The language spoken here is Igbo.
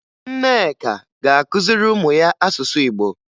Nneka ga-akụziri ụmụ ya asụsụ Igbo